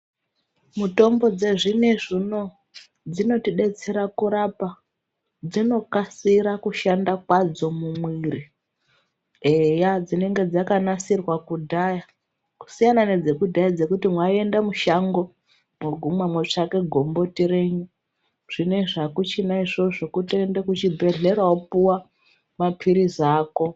Mutombo dzezvinezvi uno dzinotibetsera kurapa dzinokasira kushanda kwadzo mumwiri eya dzinenge dzakanasirwa kudhaya kusiyana nedzekudhaya dzekuti mwaienda mushango moguma motsvake gomboti renyu zvinezvi akuchina izvozvo kutoende kuchibhedhlera wopuwa mapirizi ako